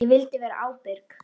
Ég vildi vera ábyrg.